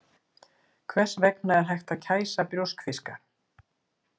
Hvers vegna er hægt að kæsa brjóskfiska.